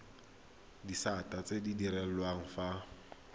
disata tse di direlwang fa